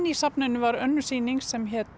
í safninu var önnur sýning sem hét